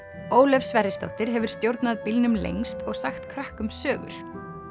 Ólöf Sverrisdóttir hefur stjórnað bílnum lengst og sagt krökkum sögur